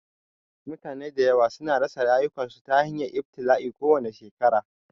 Mutane da yawa su na rasa rayukansu ta hanyar ibtila'i kowane shekara